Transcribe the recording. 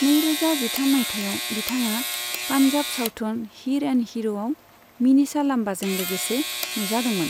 नैरोजा जिथाम माइथायाव बिथाङा पान्जाब सावथुन हीर एन्ड हीर'आव मिनिषा लांबाजों लोगोसे नुजादोंमोन।